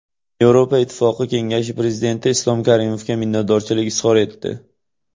Yevropa Ittifoqi Kengashi Prezidenti Islom Karimovga minnatdorchilik izhor etdi.